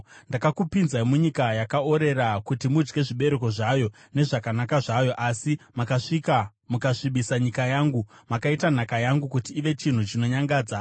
Ndakakupinzai munyika yakaorera kuti mudye zvibereko zvayo nezvakanaka zvayo. Asi makasvika mukasvibisa nyika yangu, mukaita nhaka yangu kuti ive chinhu chinonyangadza.